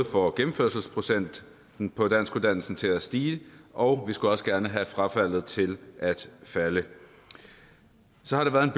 får gennemførelsesprocenten på danskuddannelsen til at stige og vi skulle også gerne have frafaldet til at falde så har der været en